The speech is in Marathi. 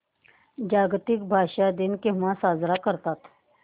जागतिक भाषा दिन केव्हा साजरा करतात